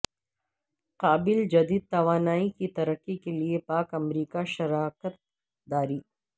قابل تجدید توانائی کی ترقی کے لیے پاک امریکہ شراکت داری